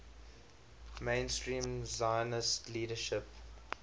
mainstream zionist leadership